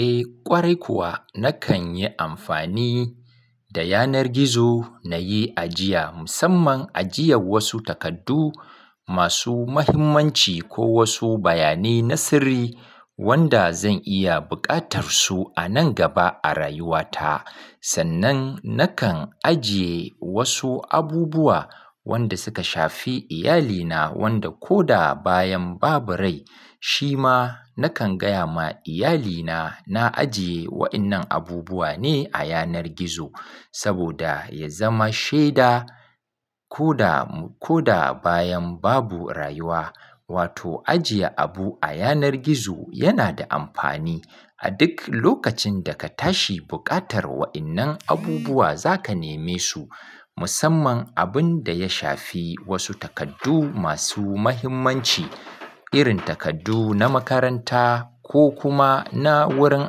Eh ƙwarai kuwa nakan yi amfani da yanar gizo na yi ajiya musamman ajiyan wasu takardu masu muhimmanci ko wasu bayanai na sirri wanda zan iya buƙatar su a nan gaba a rayuwata. Sannan nakan ajiye wasu abubuwa wanda suka shafi iyalina wanda ko da bayan babu rai shi ma nakan gaya ma iyalina na ajiye wa'innan abubuwa ne a yanar gizo. Saboda ya zama shaida ko da, ko da bayan babu rayuwa. Wato ajiye abu a yanar gizo yana da amfani a duk lokacin da ka tashi buƙatar wa'innan abubuwa zaka neme su. Musamman abun da ya shafi wasu takardu masu muhimmanci irin takardu na makaranta ko kuma na wurin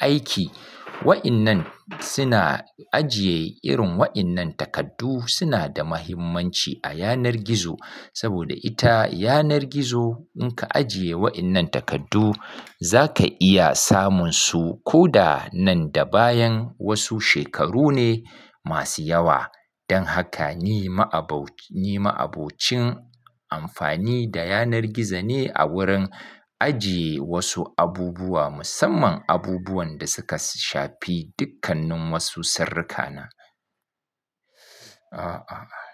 aiki. Wa'innan suna ajiye irin wa'innan takardu suna da muhimmanci a yanar gizo. Saboda ita yanar gizo in ka ajiye wa'innan takardu zaka iya samun su ko da nan da bayan wasu shekaru ne masu yawa. Don haka ni ma'abau-- ni ma'abocin amfani da yanar gizo ne a wurin ajiye wasu abubuwa musamman abubuwan da suka shafi dukkannin wasu sirrikana. Ah, ah, ah.